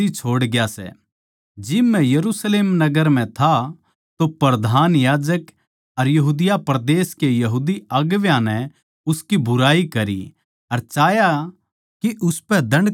जिब मै यरुशलेम नगर म्ह था तो प्रधान याजक अर यहूदिया परदेस के यहूदी अगुवां नै उसकी बुराई करी अर चाह्या के उसपै दण्ड का हुकम होवै